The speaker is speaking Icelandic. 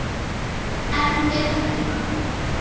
Enn er hún Una